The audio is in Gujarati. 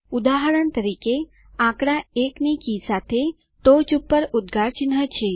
ઉદાહરણ તરીકે આંકડા 1 ની કી સાથે ટોચ પર ઉદ્ગાર ચિહ્ન છે